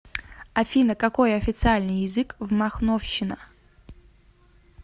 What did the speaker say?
афина какой официальный язык в махновщина